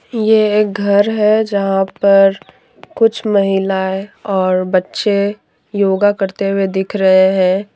ये एक घर है जहां पर कुछ महिलाएं और बच्चे योगा करते हुए दिख रहे हैं।